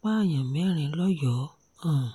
pààyàn mẹ́rin lọ́yọ́ọ́ um